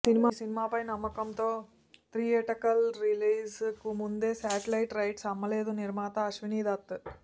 ఈ సినిమాపై నమ్మకంతో థియేట్రికల్ రిలీజ్ కు ముందే శాటిలైట్ రైట్స్ అమ్మలేదు నిర్మాత అశ్వనీదత్